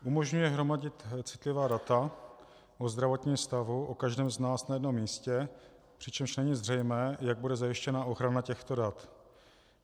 Umožňuje hromadit citlivá data o zdravotním stavu o každém z nás na jednom místě, přičemž není zřejmé, jak bude zajištěna ochrana těchto dat.